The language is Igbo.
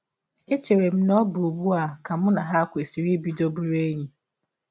Echere m na ọ bụ ụgbụ a ka mụ na ha kwesịrị ibido bụrụ enyi?.